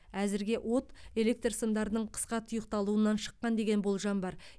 әзірге от электр сымдарының қысқа тұйықталуынан шыққан деген болжам бар